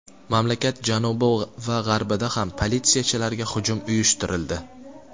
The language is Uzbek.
Mamlakat janubi va g‘arbida ham politsiyachilarga hujum uyushtirildi.